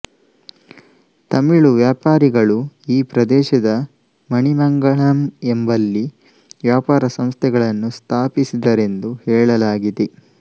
ತಮಿಳು ವ್ಯಾಪಾರಿಗಳು ಈ ಪ್ರದೇಶದ ಮಣಿಮಂಗಳಂ ಎಂಬಲ್ಲಿ ವ್ಯಾಪಾರಸಂಸ್ಥೆಗಳನ್ನು ಸ್ಥಾಪಿಸಿದರೆಂದು ಹೇಳಲಾಗಿದೆ